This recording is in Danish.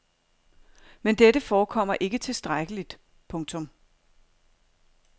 Men dette forekommer ikke tilstrækkeligt. punktum